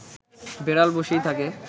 বেড়াল বসেই থাকে